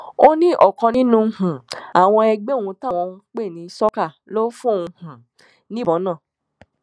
ó ní ọkan nínú um àwọn ẹgbẹ òun táwọn ń pè ní sucker ló fóun um níbọn náà